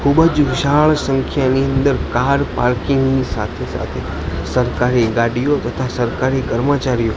ખૂબજ વિશાળ સંખ્યાની અંદર કાર પાર્કિંગ ની સાથે સાથે સરકારી ગાડીઓ બધા સરકારી કર્મચારીઓ--